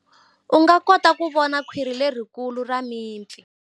U nga kota ku vona khwiri lerikulu ra mipfi.